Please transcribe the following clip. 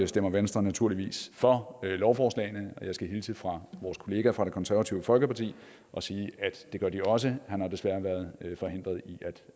stemmer venstre naturligvis for lovforslagene og jeg skal hilse fra vores kollega fra det konservative folkeparti og sige at det gør de også han har desværre været forhindret i